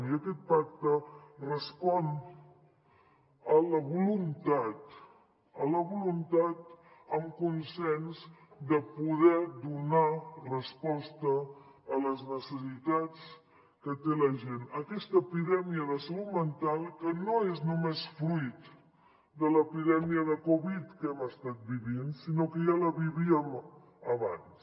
i aquest pacte respon a la voluntat amb consens de poder donar resposta a les necessitats que té la gent aquesta epidèmia de salut mental que no és només fruit de l’epidèmia de covid que hem estat vivint sinó que ja la vivíem abans